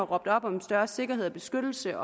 råbt op om større sikkerhed og beskyttelse